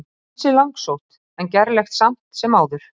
Ansi langsótt en gerlegt samt sem áður.